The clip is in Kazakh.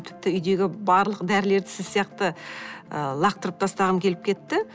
тіпті үйдегі барлық дәрілерді сіз сияқты ы лақтырып тастағым келіп кетті